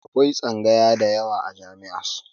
Akwai tsangaya da yawa a jami'a.